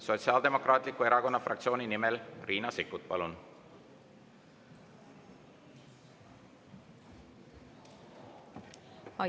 Sotsiaaldemokraatliku Erakonna fraktsiooni nimel Riina Sikkut, palun!